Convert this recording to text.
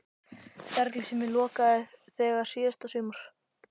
Ferli sem ég lokaði þegar síðasta sumar?